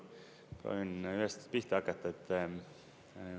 Proovin ühest pihta hakata.